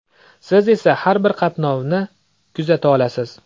Siz esa har bir qatnovni kuzata olasiz.